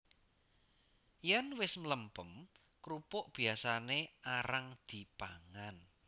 Yèn wis mlempem krupuk biyasané arang dipangan